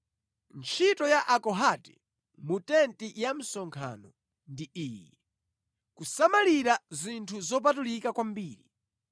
“Ntchito ya Akohati mu tenti ya msonkhano ndi iyi: kusamalira zinthu zopatulika kwambiri.